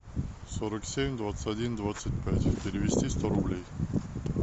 сорок семь двадцать один двадцать пять перевести сто рублей